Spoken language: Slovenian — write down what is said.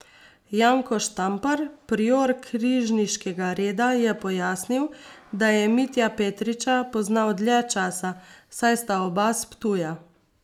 Janko Štampar, prior križniškega reda, je pojasnil, da je Mitja Petriča poznal dlje časa, saj sta oba s Ptuja.